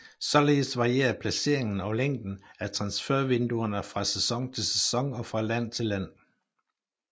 Således varierer placeringen og længden af transfervinduerne fra sæson til sæson og fra land til land